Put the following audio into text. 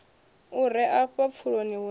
u re afha pfuloni hune